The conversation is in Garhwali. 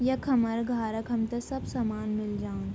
यख हमर घार क हमथे सब सामान मिल जान्द।